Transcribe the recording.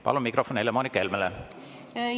Palun mikrofon Helle-Moonika Helmele!